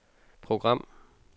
program